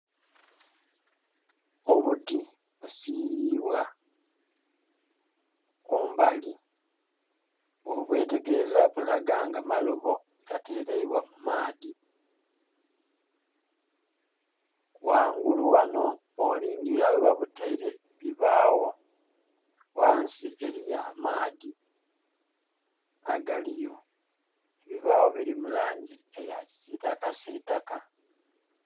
Obuti busiiribwa kumbali ghobwetegereza bulaga nga maloobo ga tereibwa mu maadhi ghangulu ghano bwo liningirila ghe babuteire bibagho, ghansi eriyo amaadhi agaliyo. Ebibigho biri mu langi eya kisitaka sitaka.